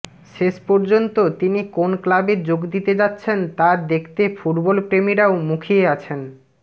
শেষ পর্যন্ত তিনি কোন ক্লাবে যোগ দিতে যাচ্ছেন তা দেখতে ফুটবল প্রেমীরাও মুখিয়ে আছেন